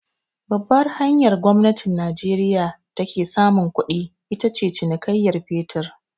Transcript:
Babbar hanyar da gwamnatin najeriya ta ke samun kuɗi, ita ce cinikayyan fetir.